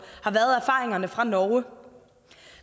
har været erfaringerne fra norge